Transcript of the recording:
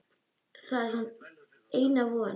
Það er hans eina von.